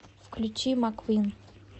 включи маквин